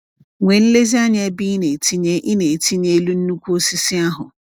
Nwee nlezianya ebe ị na-etinye ị na-etinye elu nnukwu osisi ahụ.